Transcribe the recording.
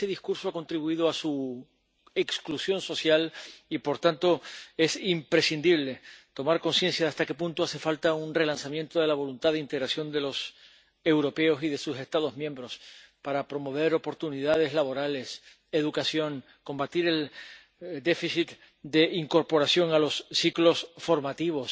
Pero ese discurso ha contribuido a su exclusión social y, por tanto, es imprescindible tomar conciencia de hasta qué punto hace falta un relanzamiento de la voluntad de integración de los europeos y de sus Estados miembros para promover oportunidades laborales y educación y combatir el déficit de incorporación a los ciclos formativos,